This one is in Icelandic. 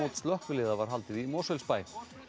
slökkviliða var haldið í Mosfellsbæ